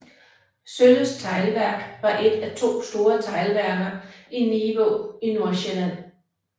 Sølyst Teglværk var et af to store teglværker i Nivå i Nordsjælland